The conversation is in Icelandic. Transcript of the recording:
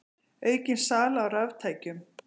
Aukin sala á raftækjum